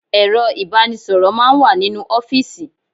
Ẹ̀rọ ìbánisọ̀rọ̀ máà ń wà nínú ọ́fìsì.